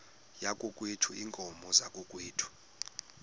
yakokwethu iinkomo zakokwethu